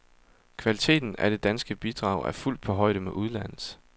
Kvaliteten af det danske bidrag er fuldt på højde med udlandets.